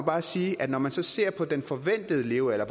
bare sige at når man så ser på den forventede levealder og